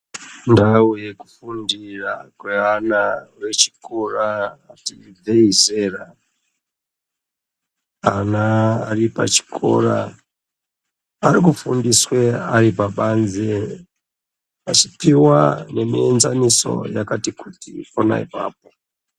Ndau yekufundira kwevana vechikora, ati ibvei zera. Ana ari pachikora, arikufundiswe ari pabanze achipiwa nemienzaniso yakati kuti pona ipapo.